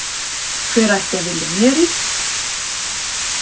Hver ætti að vilja mér illt?